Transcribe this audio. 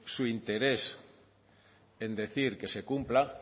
su interés en decir que se cumpla